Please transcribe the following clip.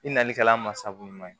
I nalikɛla masako ɲuman ye